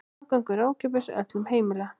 Aðgangur er ókeypis og öllum heimill.